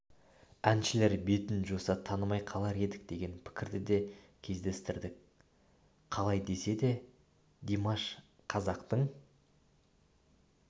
әншілер бетін жуса танымай қалар едік деген пікірді де кездестірдік қалай десе де димаш қазақтың